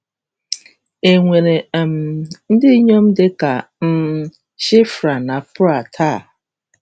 E nwere um ndị inyom dị ka um Shifra na Pua taa?